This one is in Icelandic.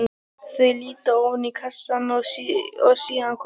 Þau líta ofan í kassann og síðan hvort á annað.